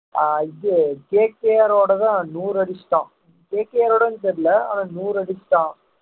ஆஹ் இது KKR ரோடதான் நூறு அடிச்சிட்டான் KKR ரோடையான்னு தெரியலை ஆனா நூறு அடிச்சிட்டான்